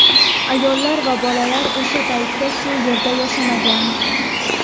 Ayollar va bolalar o‘sha paytda bu yerda yashamagan.